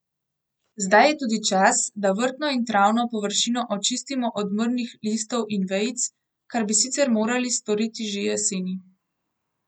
Zdaj je tudi čas, da vrtno in travno površino očistimo odmrlih listov in vejic, kar bi sicer morali storiti že jeseni ...